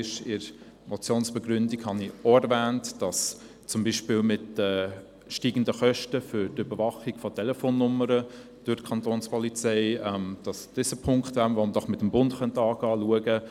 In der Motionsbegründung habe ich zudem erwähnt, dass beispielweise die steigenden Kosten für die Überwachung von Telefonnummern durch die Kantonspolizei ein Punkt wäre, welcher mit dem Bund besprochen werden könnte.